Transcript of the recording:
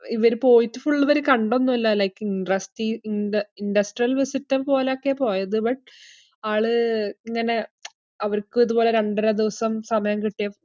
ഇവര് പോയിട്ട് full ഇവര് കണ്ടൊന്നുവില്ല like ഇൻട്രസ്റ്റീ~ ഇന്ഡ~ industrial visit പോലൊക്കെയാ പോയത് but ആള് ഇങ്ങന അവർക്കും ഇതുപോലെ രണ്ടര ദിവസം സമയം കിട്ടിയ~